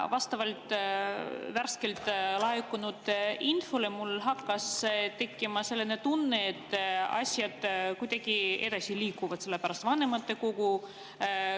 Vastavalt värskelt laekunud infole hakkas mul tekkima selline tunne, et asjad kuidagi liiguvad edasi, sest vanematekogu koguneb ja sotsiaalkomisjonil on erakorraline istung.